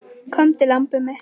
Komdu, lambið mitt.